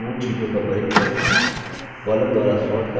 formula के मूल चीजों का परिचय